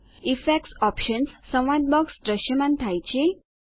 effects options સંવાદ box દ્રશ્યમાન થાય છે